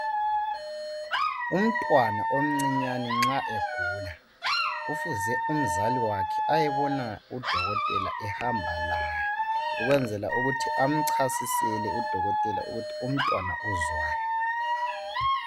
Umntwana omcinyane nxa egula kufuze umzali wakhe ayebona udokotela ehamba laye ukwenzela ukuthi amchasisele udokotela ukuthi umntwana uzwani .